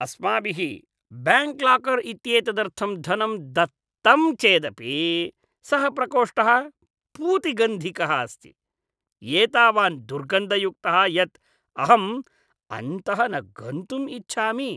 अस्माभिः bank locker इत्येतदर्थं धनं दत्तं चेदपि, सः प्रकोष्ठः पूतिगन्धिकः अस्ति, एतावान् दुर्गन्धयुक्तः यत् अहम् अन्तः न गन्तुम् इच्छामि।